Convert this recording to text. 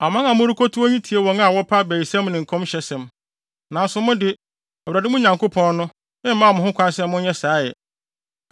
Aman a morekotu wɔn yi tie wɔn a wɔpɛ abayisɛm ne nkɔmhyɛnsɛm. Nanso mo de, Awurade, mo Nyankopɔn no, mmaa mo kwan sɛ monyɛ saa ɛ.